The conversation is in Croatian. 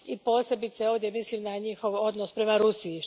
Posebice ovdje mislim na njihov odnos prema Rusiji.